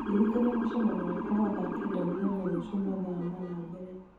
ndirikania mũcemanio wakwa wa thaa kenda mũthenya rũciũ mathaa mana mbere